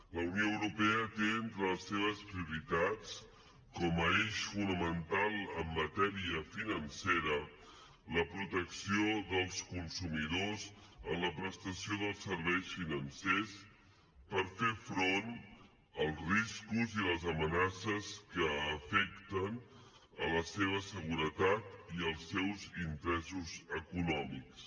la unió europea té entre les seves prioritats com a eix fonamental en matèria financera la protecció dels consumidors en la prestació dels serveis financers per fer front als riscos i les amenaces que afecten la seva seguretat i els seus interessos econòmics